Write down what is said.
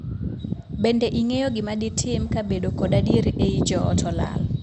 Bende ing'eyo gima ditim ka bedo kod adier ei joot olal?